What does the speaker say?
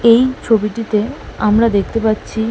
এই ছবিটিতে আমরা দেখতে পাচ্ছি--